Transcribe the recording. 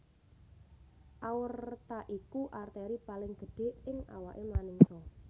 Aorta iku arteri paling gedhé ing awaké manungsa